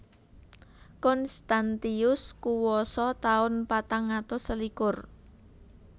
Constantius kuwasa taun patang atus selikur